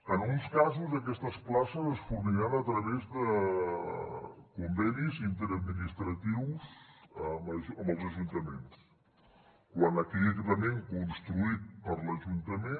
en uns casos aquestes places es forniran a través de convenis interadministratius amb els ajuntaments quan aquell equipament construït per l’ajuntament